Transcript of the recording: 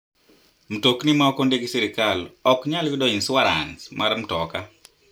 Mtokni ma ok ondiki gi sirkal ok nyal yudo insuarans mar mtoka.